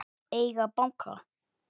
Hver á að eiga banka?